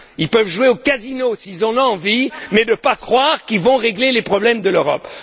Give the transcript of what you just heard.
Ils peuvent jouer au casino s'ils en ont envie mais arrêtons de croire qu'ils vont régler les problèmes de l'Europe.